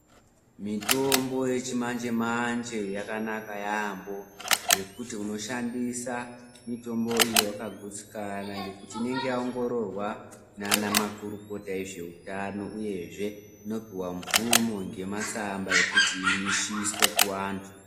Mitombo yechimanje-mazve yakanaka yaampho ngekuti unoshandisa mitombo iyi wakagutsikana. Ngekuti inenge yaongororwa ngaana makurukota ezveutano, uyezve inopuwa mvumo nematsamba ekuti igumiswe kuanthu.